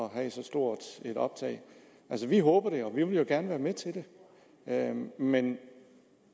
at have et så stort optag vi håber det og vi vil jo gerne være med til det men